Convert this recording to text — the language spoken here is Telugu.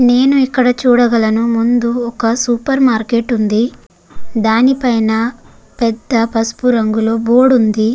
నేను ఇక్కడ చూడగలను ముందు ఒక సూపర్ మార్కెట్ వుంది దానిపైన పెద్ద పసుపు రంగులో బోర్డు వుంది.